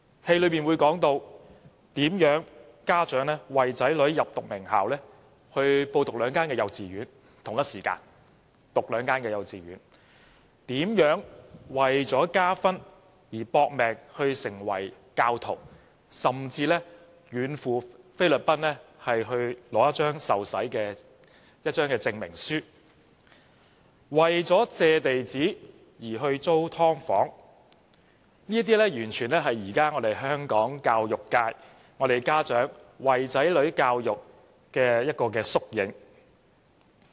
劇情之一提到，家長為了讓子女入讀名校，要小朋友同時入讀兩間幼稚園；為了加分，如何"搏命"成為教徒，甚至遠赴菲律賓，只為取得一張受洗證明書；為了借地址報讀學校，便去租"劏房"，這些完全是在現今香港教育界，家長如何為子女教育籌謀的縮影。